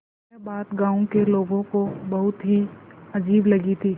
यह बात गाँव के लोगों को बहुत ही अजीब लगी थी